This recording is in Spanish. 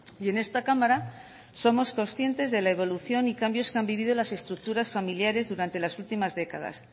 y en esta cámara somos conscientes de la evolución y cambios que han vivido las estructuras familiares durante las últimas décadas